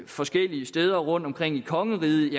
forskellige steder rundtomkring i kongeriget